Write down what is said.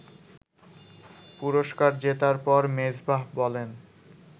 পুরস্কার জেতার পর মেজবাহ বলেন